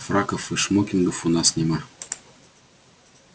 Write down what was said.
фраков и шмокингов у нас нема